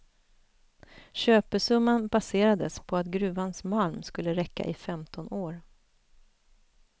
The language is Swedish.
Köpesumman baserades på att gruvans malm skulle räcka i femton år.